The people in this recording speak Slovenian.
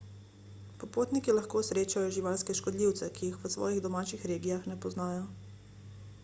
popotniki lahko srečajo živalske škodljivce ki jih v svojih domačih regijah ne poznajo